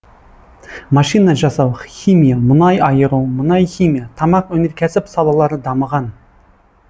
машина жасау химия мұнай айыру мұнай химия тамақ өнеркәсіп салалары дамыған